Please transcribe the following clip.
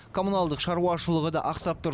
коммуналдық шаруашылығы да ақсап тұр